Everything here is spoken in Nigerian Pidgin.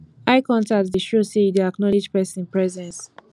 eye contact dey show sey you dey acknowledge pesin presence